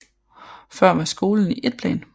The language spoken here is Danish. Før var skolen i et plan